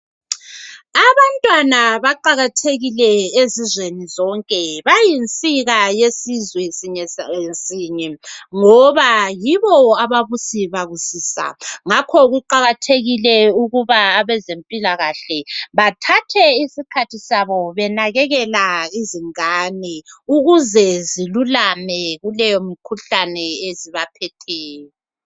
Abantwana baqalathekile ezizweni zonke bayinsika yesizwe ngoba yibo ababusi babusika ngakho kuqakathekile ukuthi abazempilakahle bathatha isikhathi sabo benakelela lezongane ukuze zilulame kuleyomikhuhlane ebaphetheyo